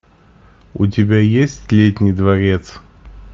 у тебя есть летний дворец